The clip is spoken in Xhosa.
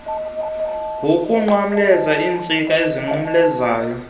ngokunqamleza iintsika ezinqumlezayo